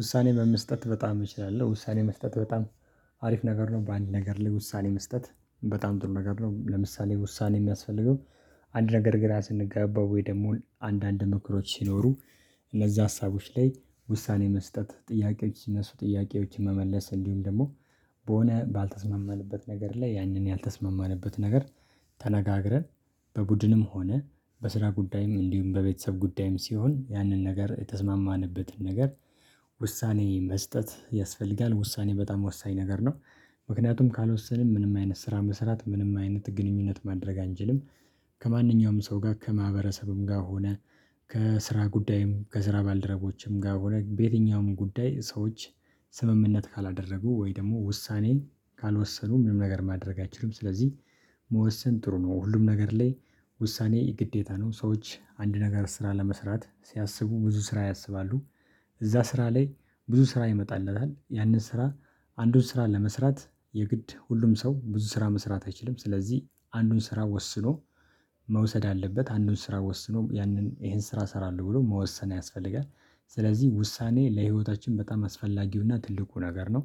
ውሳኔ በመስጠት በጣም እችላለሁ፤ ውሳኔ መስጠት በጣም አሪፍ ነገር ነው በአንድ ነገር ላይ ውሳኔ መስጠት በጣም ጥሩ ነገር ነው ለምሳሌ ውሳኔ የሚያስፈልገው አንድ ነገር ግን ስንገባ ወይ ደግሞ አንዳንድ ምክሮች ሲኖሩ እነዚህ ሀሳቦች ላይ ውሳኔ መስጠት ጥያቄዎች ሲነሱ ጥያቄዎችን መመለስ እንዲሁም ደግሞ በሆነ ባልተስመመንበት ነገር ላይ ያንን ያልተስማማንበት ነገር ተነጋግረን በቡድንም ሆነ በስራ ጉዳይም እንዲሁም በቤተሰብ ጉዳይም ሲሆን ያንን ነገር የተስማማንበትን ነገር ውሳኔ መስጠት ያስፈልጋል፤ ውሳኔ በጣም ወሳኝ ነገር ነው ምክንያቱም ካልወሰንም ምንም አይነት ስራ መስራት ምንም አይነት ግንኙነት ማድረግ አንችልም፤ ከማንኛውም ሰው ጋር ከማህበረሰብም ጋር ሆነ ከስራ ጉዳይም ከስራ ባልደረቦችም ጋር ሆነ በየትኛውም ጉዳይ ሰዎች ስምምነት ካላደረጉ ወይ ደግሞ ውሳኔ ካልወሰኑ ምንም ነገር ማድረግ አይችሉም ስለዚህ መወሰን ጥሩ ነው ሁሉም ነገር ላይ ውሳኔ የግዴታ ነው ሰዎች አንድ ነገር ስራ ለመስራት ሲያስቡ ብዙ ስራ ያስባሉ፤ እዛ ስራ ላይ ብዙ ስራ ይመጣለታል ያንን ስራ አንዱን ስራ ለመስራት የግድ ሁሉም ሰው ብዙ ስራ መስራት አይችልም ስለዚህ አንዱን ስራ ወስኖ መውሰድ አለበት አንዱን ስራ ወስኖ ያንን ይሄን ስራ እሰራለሁ ብሎ መወሰን ያስፈልጋል ስለዚህ ውሳኔ ለህይወታችን በጣም አስፈላጊውና ትልቁ ነገር ነው፤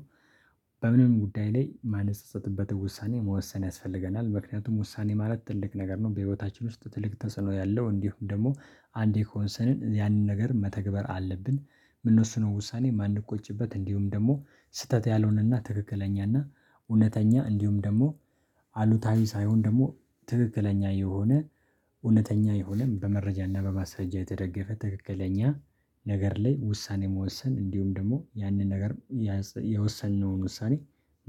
በምንም ጉዳይ ላይ የማንጸጸትበትን ውሳኔ መወሰን ያስፈልገናል ምክንያቱም ውሳኔ ማለት ትልቅ ነገር ነው በህይወታችን ውስጥ ትልቅ ተጽዕኖ ያለው እንዲሁም ደግሞ አንዴ ከወሰንን ያንን ነገር መተግበር አለብን የምንወስነው ውሳኔ የማንቆጭበት እንዲሁም ደግሞ ስህተት ያልሆነና ትክክለኛና እውነተኛ እንዲሁም ደግሞ አሉታዊ ሳይሆን ደግሞ ትክክለኛ የሆነ እውነተኛ የሆነም በመረጃና በማስረጃ የተደገፈ ትክክለኛ ነገር ላይ ውሳኔ መወሰን እንዲሁም ደግሞ ያንን ነገር የወሰንነውን ውሳኔ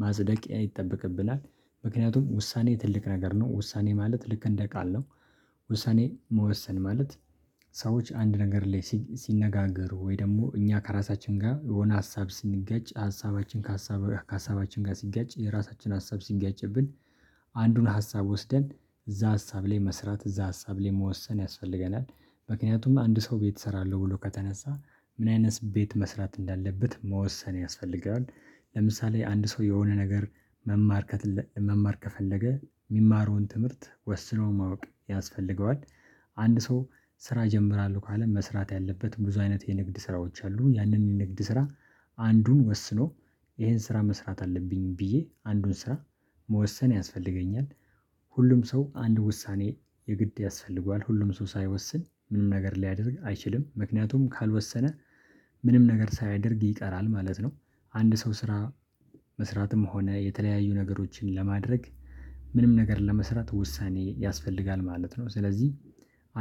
ማጽደቂያ ይጠበቅብና፤ ምክንያቱም ውሳኔ ትልቅ ነገር ነው ውሳኔ ማለት ልክ እንደ ቃል ነው ውሳኔ መወሰን ማለት ሰዎች አንድ ነገር ላይ ሲነጋገሩ ወይ ደግሞ እኛ ከራሳችን ጋር የሆነ ሀሳብ ስንጋጭ ሀሳባችን ከሀሳብ ከሀሳባችን ጋር ሲጋጭ የራሳችን ሀሳብ ሲጋጭብን አንዱን ሀሳብ ወስደን እዛ ሀሳብ ላይ መስራት እዛ ሀሳብ ላይ መወሰን ያስፈልገናል ምክንያቱም አንድ ሰው ቤት እሰራለሁ ብሎ ከተነሳ ምን አይነት ቤት መስራት እንዳለበት መወሰን ያስፈልጋል ለምሳሌ አንድ ሰው የሆነ ነገር መማር መማር መማር ከፈለገ የሚማረውን ትምህርት ወስኖ ማወቅ ያስፈልገዋል፤ አንድ ሰው ስራ እጀምራለሁ ከአለ መስራት ያለበት ብዙ አይነት የንግድ ስራዎች አሉ ያንን የንግድ ስራ አንዱን ወስኖ ይሄን ስራ መስራት አለብኝ ብዬ አንዱን ስራ መወሰን ያስፈልገኛል፤ ሁሉም ሰው አንድ ውሳኔ የግድ ያስፈልገዋል ሁሉም ሰው ሳይወስን ምንም ነገር ሊያደርግ አይችልም ምክንያቱም ካልወሰነ ምንም ነገር ሳያደርግ ይቀራል ማለት ነው አንድ ሰው ስራ መስራትም ሆነ የተለያዩ ነገሮችን ለማድረግ ምንም ነገር ለመስራት ውሳኔ ያስፈልጋል ማለት ነው ስለዚህ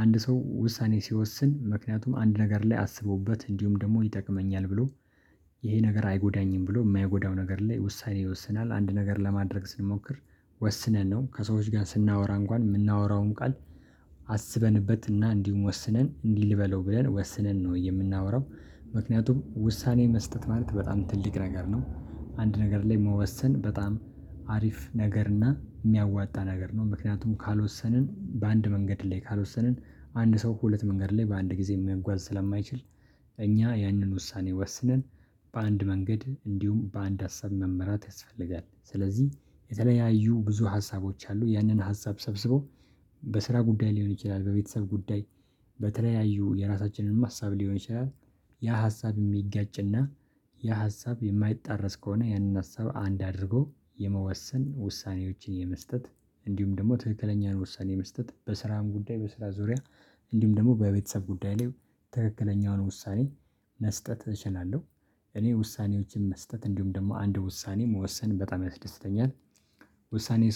አንድ ሰው ውሳኔ ሲወስን ምክንያቱም አንድ ነገር ላይ አስቦበት እንዲሁም ደግሞ ይጠቅመኛል ብሎ ይሄ ነገር አይጎዳኝም ብሎ የማይጎዳው ነገር ላይ ውሳኔ ይወስናል፤ አንድ ነገር ለማድረግ ስንሞክር ወስነን ነው ከሰዎች ጋር ስናወራ እንኳን የምናወራውን ቃል አስበንበትና እንዲሁም ወስነን እንዲህ ልበለው ብለን ወስነን ነው የምናወራው ምክንያቱም ውሳኔ መስጠት ማለት በጣም ትልቅ ነገር ነው፤ አንድ ነገር ላይ መወሰን በጣም አሪፍ ነገር እና የሚያዋጣ ነገር ነው ምክንያቱም ካልወሰንን በአንድ መንገድ ላይ ካልወሰንን አንድ ሰው ሁለት መንገድ ላይ በአንድ ጊዜ መጓዝ ስለማይችል እኛ ያንን ውሳኔ ወስነን በአንድ መንገድ እንዲሁም በአንድ አሰብ መመራት ያስፈልጋል ስለዚህ የተለያዩ ብዙ ሀሳቦች አሉ ያንን ሀሳብ ሰብስቦ በስራ ጉዳይ ሊሆን ይችላል በቤተሰብ ጉዳይ በተለያዩ የራሳችንንም ሀሳብ ሊሆን ይችላል ያ ሀሳብ የሚጋጭና የሀሳብ የማይጣረስ ከሆነ ያንን ሀሳብ አንድ አድርጎ የመወሰን ውሳኔዎችን የመስጠት እንዲሁም ደግሞ ትክክለኛን ውሳኔ መስጠት በስራም ጉዳይ በስራ ዙሪያ እንዲሁም ደግሞ በቤተሰብ ጉዳይ ላይ ትክክለኛውን ውሳኔ መስጠት እችላለሁ እኔ ውሳኔዎችን መስጠት እንዲሁም ደግሞ አንድ ውሳኔ መወሰን በጣም ያስደስተኛል፤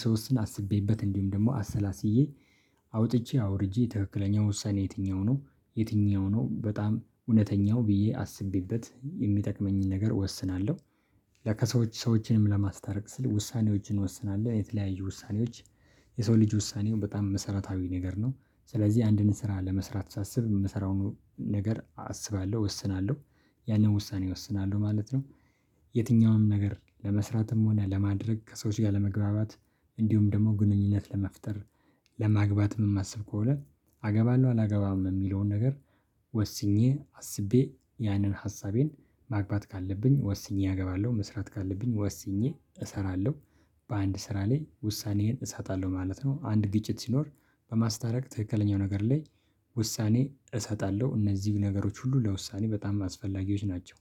ስወስን አስቤበት እንዲሁም ደግሞ አሰላስዬ አውጥቼ አውርጄ ትክክለኛ ወሳኔ የትኛው ነው የትኛው ነው በጣም እውነተኛው ብዬ አስቤበት የሚጠቅመኝን ነገር እወስናለሁ፤ ለከሰዎች ሰዎችንም ለማስታረቅ ስል ውሳኔዎችን እወስናለሁ የተለያዩ ውሳኔዎች የሰው ልጅ ውሳኔው በጣም መሰረታዊ ነገር ነው ስለዚህ አንድን ስራ ለመስራት ሳስብ የምሰራውን ነገር አስባለሁ እወስናለሁ ያንን ውሳኔ እወስናለሁ ማለት ነው። የትኛውም ነገር ለመስራትም ሆነ ለማድረግ ከሰዎች ጋር ለመግባባት እንዲሁም ደግሞ ግንኙነት ለመፍጠር ለማግባትም የማስብ ከሆነ አገባለሁ አላገባም የሚለውን ነገር ወስኜ አስቤ ያንን ሀሳቤን ማግባት ካለብኝ ወስኜ እገባለሁ መስራት ካለብኝ ወስኜ እሰራለሁ በአንድ ስራ ላይ ውሳኔዬን እሰጣለሁ ማለት ነው አንድ ግጭት ሲኖር በማስታረቅ ትክክለኛው ነገር ላይ ውሳኔ እሰጣለሁ እነዚህ ነገሮች ሁሉ ለውሳኔ በጣም አስፈላጊዎች ናቸው